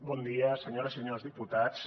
bon dia senyores i senyors diputats